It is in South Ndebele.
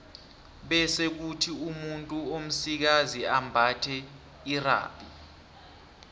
bese kuthi umuntu omsikazi ambathe irhabi